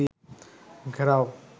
ঘেরাও